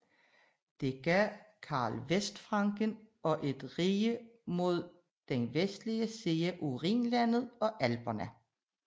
Det gav Karl Vestfranken og et rige mod den vestlige side af Rhinlandet og Alperne